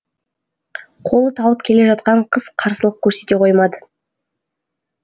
қолы талып келе жатқан қыз қарсылық көрсете қоймады